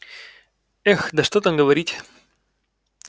эх да что там говорить